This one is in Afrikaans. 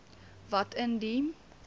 wat in die